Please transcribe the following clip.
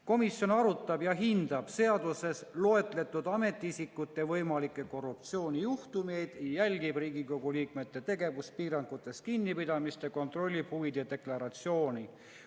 Komisjon arutab ja hindab seaduses loetletud ametiisikute võimalikke korruptsioonijuhtumeid, jälgib Riigikogu liikmete tegevuspiirangutest kinnipidamist ja kontrollib huvide deklaratsioone.